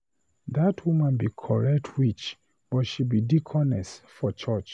That woman be correct witch, but she be deaconess for church.